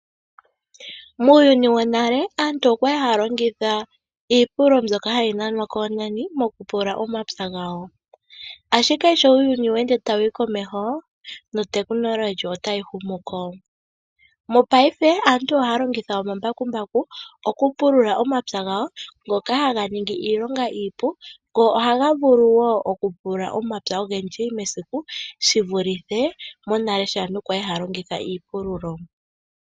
Muuyuni wonena aantu oyali haalongitha iipululo yoongombe opo ya pulule omapya gawo, ashike ehumo komeho sho lyeya aantu ohaapululitha omapya gawo nomambakumbaku ngoka haga ningi iilonga iipu ngo ohaga vulu woo okupulula omapya ogendji mesiku shivulithe monale aantu sho yali haapululitha iipululo yoongombe.